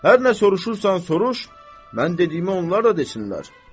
Hər nə soruşursan soruş, mən dediyimə onlar da desinlər.